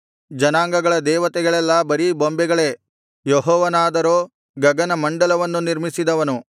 ಜನಾಂಗಗಳ ದೇವತೆಗಳೆಲ್ಲಾ ಬರೀ ಬೊಂಬೆಗಳೇ ಯೆಹೋವನಾದರೋ ಗಗನಮಂಡಲವನ್ನು ನಿರ್ಮಿಸಿದವನು